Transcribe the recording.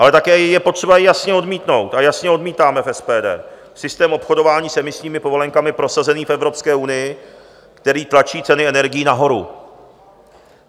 Ale také je potřeba jasně odmítnout, a jasně odmítáme v SPD, systém obchodování s emisními povolenkami prosazený v Evropské unii, který tlačí ceny energií nahoru.